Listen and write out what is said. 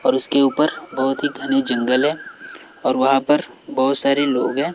और उसके ऊपर बहुत ही घने जंगल हैं और वहां पर बहुत सारे लोग हैं।